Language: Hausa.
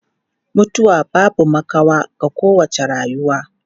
Mutuwa babu makawa ga kowace rayuwa.